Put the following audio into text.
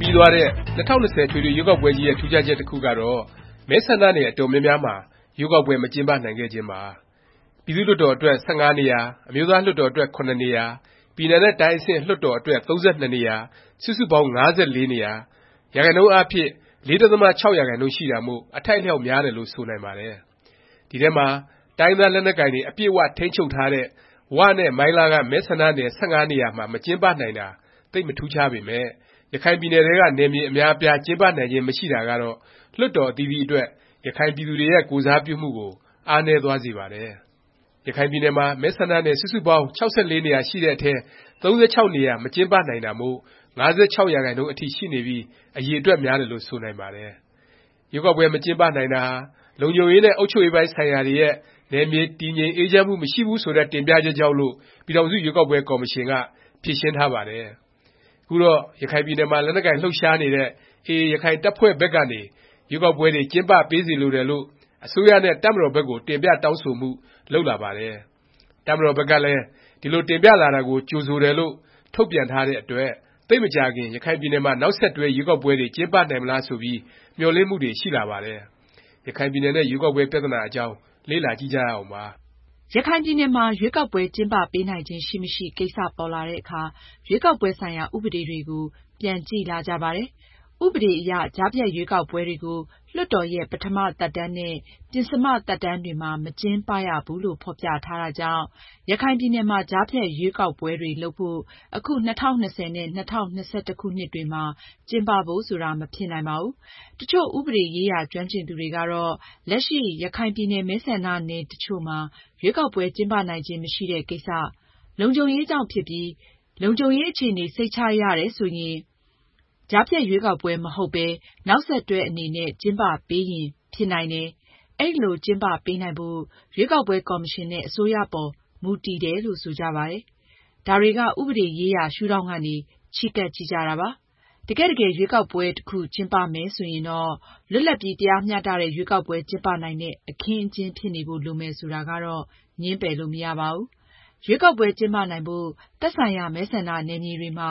ပြီးသွားတဲ့ ၂၀၂၀ အထွေထွေ ရွေးကောက်ပွဲကြီးရဲ့ ထူးခြားချက် တစ်ခုကတော့ မဲဆန္ဒနယ် အတော်များများမှာ ရွေးကောက်ပွဲ မကျင်းပနိုင်ခဲ့ခြင်းပါ။ ပြည်သူ့လွှတ်တော် အတွက် ၁၅ နေရာ၊ အမျိုးသားလွှတ်တော် အတွက် ၇ နေရာ၊ ပြည်နယ်နဲ့တိုင်းအဆင့် လွှတ်တော် အတွက် ၃၂ နေရာ စုစုပေါင်း ၅၄ နေရာ၊ ရာခိုင်နှုန်းအားဖြင့် ၄.၆% ရှိတာမို့ အထိုက်အလျောက် များတယ်လို့ ဆိုနိုင်ပါတယ်။ ဒီအထဲမှာ တိုင်းရင်းသား လက်နက်ကိုင်တွေ အပြည့်အ၀ ထိန်းချုပ်ထားတဲ့ ဝနဲ့ မိုင်းလားက မဲဆန္ဒနယ် ၁၅ နေရာမှာ မကျင်းပနိုင်တာ သိပ် မထူးခြားပေမယ့် ရခိုင်ပြည်နယ်ထဲက နယ်မြေ အများအပြား ကျင်းပနိုင်ခြင်း မရှိတာကတော့ လွှတ်တော် အသီးသီးအတွက် ရခိုင်ပြည်သူတွေရဲ့ ကိုယ်စားပြုမှုကို အားနည်းသွားစေပါတယ်။ ရခိုင်ပြည်နယ်မှာ မဲဆန္ဒနယ် စုစုပေါင်း ၆၄ နေရာရှိတဲ့အထဲ ၃၆ နေရာ မကျင်းပနိုင်တာမို့ ၅၆%အထိ ရှိနေပြီး အရည်အတွက် များတယ်လို့ ဆိုနိုင်ပါတယ်။ ရွေးကောက်ပွဲ မကျင်းပနိုင်တာဟာ လုံခြုံရေးနဲ့ အုပ်ချုပ်ရေးပိုင်း ဆိုင်ရာတွေရဲ့ နယ်မြေ တည်ငြိမ်အေးချမ်းမှု မရှိဘူး ဆိုတဲ့ တင်ပြချက်ကြောင့်လို့ ပြည်ထောင်စု ရွေးကောက်ပွဲ ကော်မရှင်က ဖြေရှင်းထားပါတယ်။ ခုတော့ ရခိုင်ပြည်နယ်မှာ လက်နက်ကိုင် လှုပ်ရှားနေတဲ့ AA ရခိုင်တပ်ဖွဲ့ဘက်ကနေ ရွေးကောက်ပွဲတွေ ကျင်းပပေးစေလိုတယ်လို့ အစိုးရနဲ့ တပ်မတော်ဘက်ကို တင်ပြတောင်းဆိုမှု လုပ်လာပါတယ်။ တပ်မတော်ဘက်ကလည်း ဒီလို တင်ပြလာတာကို ကြိုဆိုတယ်လို့ ထုတ်ပြန်ထားတဲ့အတွက် သိပ်မကြာခင် ရခိုင်ပြည်နယ်မှာ နောက်ဆက်တွဲ ရွေးကောက်ပွဲတွေ ကျင်းပနိုင်မလား ဆိုပြီး မျှော်လင့်မှုတွေ ရှိလာပါတယ်။ ရခိုင်ပြည်နယ်နဲ့ ရွေးကောက်ပွဲ ပြသနာအကြောင်း လေ့လာကြည့်ကြရအောင်ပါ။ ရခိုင်ပြည်နယ်မှာ ရွေးကောက်ပွဲ ကျင်းပပေးနိုင်ခြင်း ရှိမရှိ ကိစ္စပေါ်လာတဲ့အခါ ရွေးကောက်ပွဲ ဆိုင်ရာ ဥပဒေတွေကို ပြန်ကြည့်လာကြပါတယ်။ ဥပဒေအရ ကြားဖြတ်ရွေးကောက်ပွဲတွေကို လွှတ်တော်ရဲ့ ပထမ သက်တမ်းနဲ့ ပဉ္စမ သက်တမ်းတွေမှာ မကျင်းပရဘူးလို့ ဖော်ပြထားတာကြောင့် ရခိုင်ပြည်နယ်မှာ ကြားဖြတ်ရွေးကောက်ပွဲတွေ လုပ်ဖို့ အခု ၂၀၂၀ နဲ့ ၂၀၂၁ ခုနှစ်တွေမှာ ကျင်းပဖို့ဆိုတာ မဖြစ်နိုင်ပါဘူး။ တစ်ချို့ ဥပဒေရေးရာ ကျွမ်းကျင်သူတွေကတော့ လက်ရှိ ရခိုင်ပြည်နယ် မဲဆန္ဒနယ် တစ်ချို့မှာ ရွေးကောက်ပွဲ ကျင်းပနိုင်ခြင်း မရှိတဲ့ ကိစ္စ၊ လုံခြုံရေးကြောင့် ဖြစ်ပြီး လုံခြုံရေးအခြေအနေ စိတ်ချရတယ် ဆိုရင် ကြားဖြတ် ရွေးကောက်ပွဲ မဟုတ်ပဲ နောက်ဆက်တွဲ အနေနဲ့ ကျင်းပပေးရင် ဖြစ်နိုင်တယ်၊ အဲလို ကျင်းပပေးနိုင်ဖို့ ရွေးကောက်ပွဲ ကော်မရှင် နဲ့ အစိုးရအပေါ် မူတည်တယ်လို့ ဆိုကြပါတယ်။ ဒါတွေက ဥပဒေရေးရာ ရှုဒေါင့်ကနေ ချဉ်းကပ် ကြည့်ကြတာပါ။ တကယ့်တကယ် ရွေးကောက်ပွဲ တစ်ခု ကျင်းပမယ် ဆိုရင်တော့ လွတ်လပ်ပြီး တရားမျှတတဲ့ ရွေးကောက်ပွဲ ကျင်းပနိုင်တဲ့ အခင်းအကျင်း ဖြစ်နေဖို့ လိုမယ် ဆိုတာကတော့ ငြင်းပယ်လို့ မရပါဘူး။ ရွေးကောက်ပွဲ ကျင်းပနိုင်ဖို့ သက်ဆိုင်ရာ မဲဆန္ဒနယ်မြေတွေမှာ